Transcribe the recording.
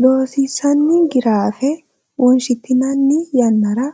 Loossinanni Giraafe wonshitinanni yannara